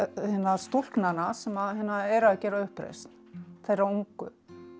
stúlknanna sem eru að gera uppreisn þeirra ungu